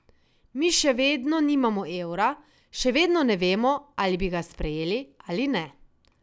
Mi še vedno nimamo evra, še vedno ne vemo, ali bi ga sprejeli ali ne.